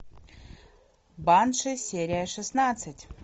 банши серия шестнадцать